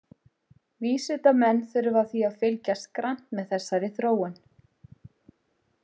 Vísindamenn þurfa því að fylgjast grannt með þessari þróun.